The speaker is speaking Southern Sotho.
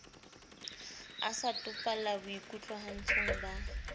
a sa topalla boikutlwahatsong ba